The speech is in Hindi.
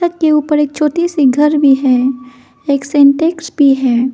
के ऊपर एक छोटी सी घर भी है एक सिंटेक्स भी है।